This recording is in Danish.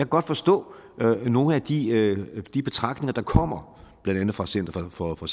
godt forstå nogle af de de betragtninger der kommer blandt andet fra center for for